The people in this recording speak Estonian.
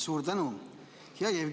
Suur tänu!